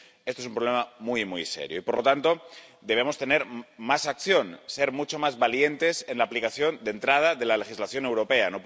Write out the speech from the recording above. Esto es un problema muy muy serio y, por lo tanto, debemos tener más acción, ser mucho más valientes en la aplicación —de entrada— de la legislación europea.